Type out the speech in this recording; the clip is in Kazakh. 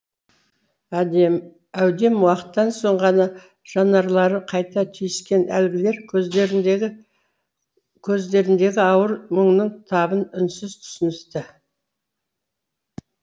әудем уақыттан соң ғана жанарлары қайта түйіскен әлгілер көздеріндегі ауыр мұңның табын үнсіз түсіністі